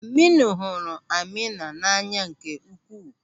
Aminu hụrụ Amina n'anya nke ukwuu.